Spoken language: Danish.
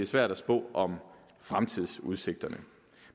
svært at spå om fremtidsudsigterne